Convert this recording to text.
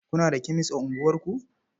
Kuna da kemes a unguwarku?